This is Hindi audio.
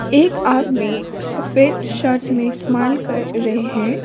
एक आदमी सफेद शर्ट में स्माइल कर रहे हैं।